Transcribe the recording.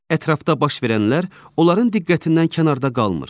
Ətrafda baş verənlər onların diqqətindən kənarda qalmır.